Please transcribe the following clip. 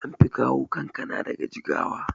anfi kawo kankana daga jigawa